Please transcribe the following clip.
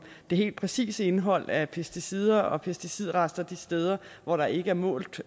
det helt præcise indhold af pesticider og pesticidrester de steder hvor der ikke målt